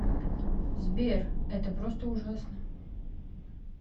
сбер это просто ужасно